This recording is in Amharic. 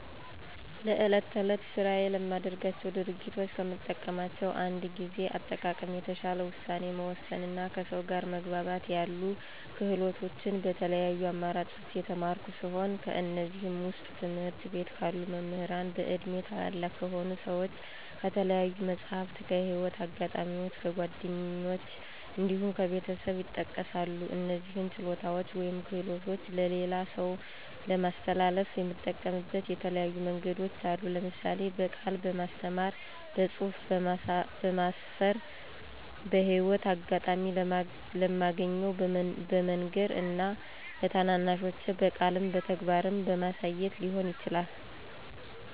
ለዕለት ተዕለት ስራዬ ለማደርጋቸው ድርጊቶች ከምጠቀማቸው እንደ ጊዜ አጠቃቀም፣ የተሻለ ውሳኔ መወሰን እና ከሰው ጋር መግባባት ያሉ ክህሎቶችን በተለያዩ አማራጮች የተማርኩ ሲሆን ከእነዚህም ዉስጥ፦ ከትምህርት ቤት ካሉ መምህራን፣ በእድሜ ታላላቅ ከሆኑ ሰዎች፣ ከተለያዩ መፅሀፍት፣ ከህይወት አጋጣሚዎች፣ ከጓደኞች እንዲሁም ከቤተሰብ ይጠቀሳሉ። እነዚህን ችሎታዎች ወይም ክህሎቶች ለሌላ ሰው ለማስተላለፍ የምጠቀምበት የተለያዩ መንገዶች አሉ። ለምሳሌ፦ በቃል በማስተማር፣ በፅሁፍ በማስፈር፣ በህይወት አጋጣሚ ለማገኘው በመንገር እና ለታናናሾቼ በቃልም በተግባርም በማሳየት ሊሆን ይችላል።